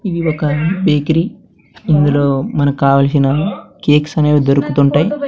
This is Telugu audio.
ఇది ఒక బికిరీ ఇందులో మనకావాల్సిన కేక్స్ అనేవి దొరుకుతుంటాయ్.